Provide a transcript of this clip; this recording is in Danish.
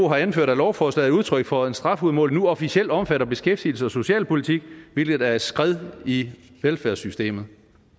har anført at lovforslaget udtryk for at strafudmålingen nu officielt omfatter beskæftigelse og socialpolitik hvilket er et skred i velfærdssystemet